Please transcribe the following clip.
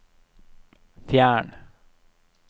fjern